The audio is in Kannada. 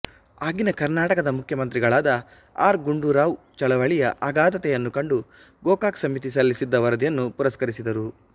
ಆಗಿನ ಕರ್ನಾಟಕದ ಮುಖ್ಯಮಂತ್ರಿಗಳಾದ ಆರ್ ಗುಂಡೂರಾವ್ ಚಳವಳಿಯ ಆಗಾಧತೆಯನ್ನು ಕಂಡು ಗೋಕಾಕ್ ಸಮಿತಿ ಸಲ್ಲಿಸಿದ್ದ ವರದಿಯನ್ನು ಪುರಸ್ಕರಿಸಿದರು